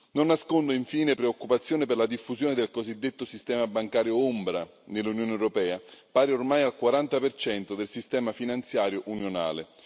Non nascondo infine preoccupazione per la diffusione del cosiddetto sistema bancario ombra nell'Unione europea, pari ormai al 40 del sistema finanziario unionale.